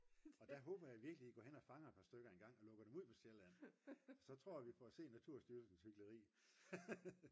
og der håber jeg virkelig I går hen og fanger et par stykker engang og lukker dem ud på Sjælland så tror jeg vi får set Naturstyrelsens hykleri